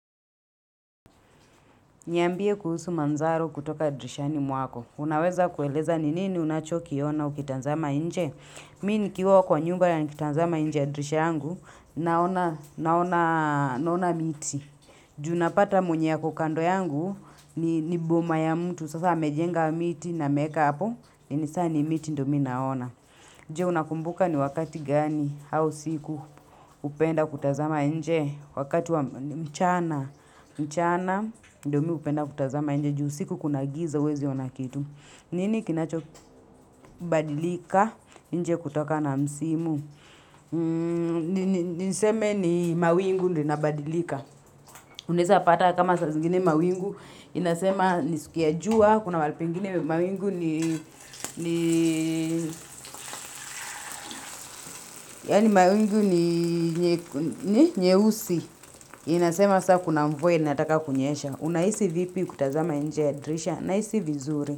Nambie kuhusu manzaro kutoka dirishani mwako. Unaweza kueleza ni nini unachoki yona ukitanzama inje. Mi ni kiwa kwa nyumba ya nikitanzama nje ya dirisha yangu. Naona miti. Junapata mwenye yako kando yangu ni boma ya mtu. Sasa amejenga miti na meka hapo. Ni sani miti ndo minaona. Nje unakumbuka ni wakati gani au siku hupenda kutazama nje. Wakati wa mchana mchana, ndo miupenda kutazama nje juu usiku kuna giza huwezi onakitu. Nini kinacho badilika, nje kutoka na msimu niseme ni mawingu ndio nabadilika unaeza pata kama saa zingine mawingu inasema ni siku ya jua kuna mahali pengine mawingu ni ni yani mawingu ni nyeusi inasema saa kuna mvua ni ataka kunyesha Unaisi vipi kutazama nje dirisha nahisi vizuri.